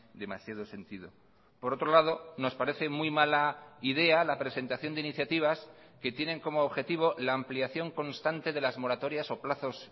demasiado sentido por otro lado nos parece muy mala idea la presentación de iniciativas que tienen como objetivo la ampliación constante de las moratorias o plazos